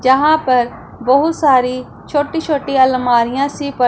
यहां पर बहुत सारी छोटी छोटी अलमारियां सी प--